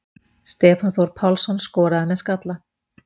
Stefán Þór Pálsson skoraði með skalla.